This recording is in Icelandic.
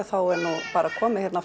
er bara komið